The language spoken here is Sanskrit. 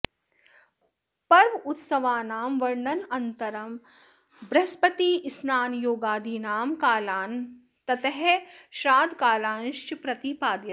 पर्वोत्सवानां वर्णनानन्तरं बृहस्पतिः स्नानयोगादीनां कालान् ततः श्राद्धकालांश्च प्रतिपादयति